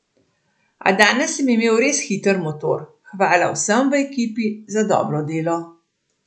A danes sem imel res hiter motor, hvala vsem v ekipi za dobro delo.